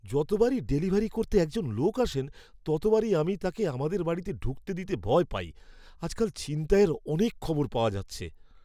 যতবারই ডেলিভারি করতে একজন লোক আসেন, ততবারই আমি তাঁকে আমাদের বাড়িতে ঢুকতে দিতে ভয় পাই। আজকাল ছিনতাইয়ের অনেক খবর পাওয়া যাচ্ছে।